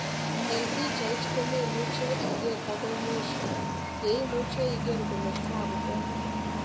En pichait komemuchi iger agoi mwisio ye imuche iger kole taabu kone.